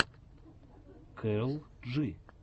кэрол джи